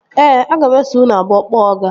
Ee, aga m eso unu abụọ kpọọ ọga